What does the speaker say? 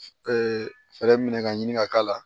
fɛɛrɛ minɛ ka ɲini ka k'a la